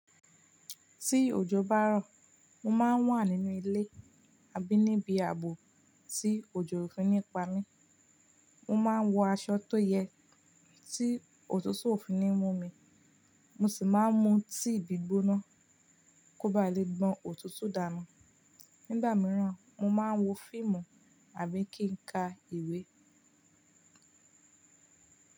Tí òjò bá rọ̀, mo máa ń wà nínú ilé àbí níbi aàbò tí òjò o fi ní pa mí. Mo máa ń wọ aṣọ tó yẹ tí òtútù òfi ní mú mi, mo sì máa ń mu tíì gbígbóná kó ba lè gbon òtútù dànù. Nígbà mìíràn, mo máa ń wo fíìmù àbí kí n ka ìwé.